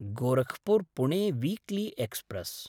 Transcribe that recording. Gorakhpur Pune weekly express